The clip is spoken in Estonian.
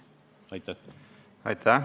Aitäh!